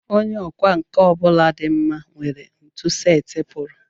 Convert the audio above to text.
Onye ọkwá nkà ọ bụla dị mma nwere ntu setịpụrụ